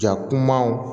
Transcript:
Ja kumaw